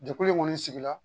Jɛkulu in kɔni sigila